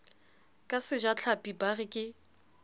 ka sejatlhapi ba re ke